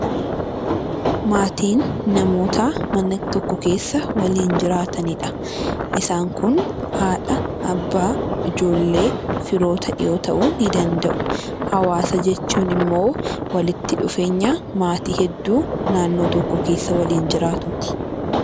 Maatiin namoota mana tokko keessa waliin jiraatanidha. Isaan Kun haadha, abbaa, ijoollee, firoota yoo ta'uu ni danda'u. Hawaasa jechuun immoo walitti dhufeenya maatii hedduu naannoo tokko keessa waliin jiraatuuti.